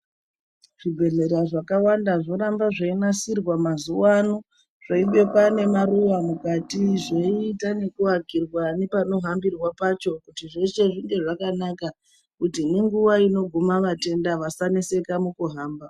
Zvibhedhlera zvakawanda zvoramba zveinasirwa mazuwano zveibekwa nemaruwa mukati, zveiita ekuwakirwa nepanohambirwa pacho kuti zveshe zvinge zvakanaka kuti nenguwa unoguma vatenda vasaneseka mukuhamba.